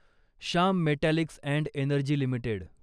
Shyam metallics and energy limited